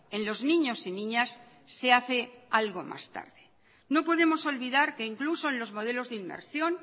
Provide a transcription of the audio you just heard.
en los niños y niñas se hace algo más tarde no podemos olvidar que incluso en los modelos de inmersión